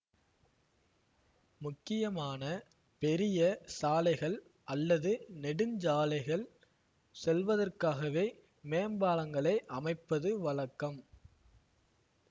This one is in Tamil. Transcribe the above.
முக்கியமான பெரிய சாலைகள் அல்லது நெடுஞ்சாலைகள் செல்வதற்காகவே மேம்பாலங்களை அமைப்பது வழக்கம்